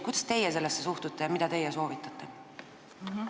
Kuidas teie sellesse suhtute ja mida teie soovitate?